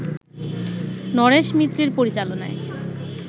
নরেশ মিত্রের পরিচালনায়